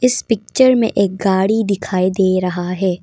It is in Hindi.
इस पिक्चर में एक गाड़ी दिखाई दे रहा है।